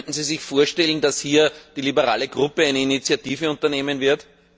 Könnten Sie sich vorstellen, dass hier die liberale Fraktion eine Initiative unternehmen wird?